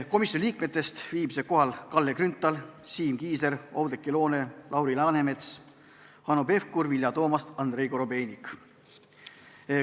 Komisjoni liikmetest viibisid kohal Kalle Grünthal, Siim Kiisler, Oudekki Loone, Lauri Läänemets, Hanno Pevkur, Vilja Toomast, Andrei Korobeinik.